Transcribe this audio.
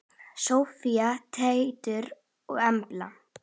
Soffía, Teitur og Embla.